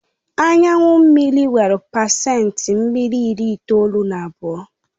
Anyu mmiri nwere pacent mmiri ịri itoolu na abụọ